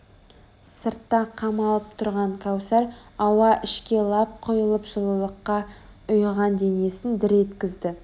сыртта қамалып тұрған кәусар ауа ішке лап құйылып жылылыққа ұйыған денесін дір еткізді